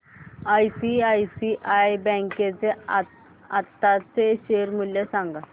ICICI bank चे आताचे share मूल्य सांगा